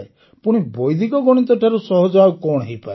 ପୁଣି ବୈଦିକ ଗଣିତଠାରୁ ସହଜ ଆଉ କଣ ହୋଇପାରେ